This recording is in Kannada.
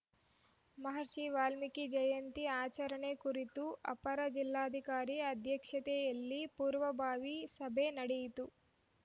ಮಹರ್ಷಿ ವಾಲ್ಮೀಕಿ ಜಯಂತಿ ಆಚರಣೆ ಕುರಿತು ಅಪರ ಜಿಲ್ಲಾಧಿಕಾರಿ ಅಧ್ಯಕ್ಷತೆಯಲ್ಲಿ ಪೂರ್ವಭಾವಿ ಸಭೆ ನಡೆಯಿತು